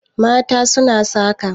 mata suna saka